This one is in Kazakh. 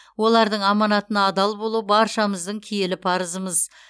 олардың аманатына адал болу баршамыздың киелі парызымыз